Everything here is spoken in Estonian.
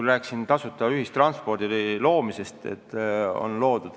Ma rääkisin küll tasuta ühistranspordi loomisest.